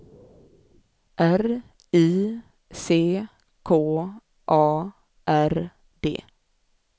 R I C K A R D